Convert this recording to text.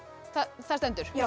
það stendur já